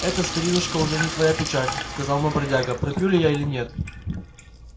это старинушка уже не твоя печаль сказал мой бродяга пропью ли я или нет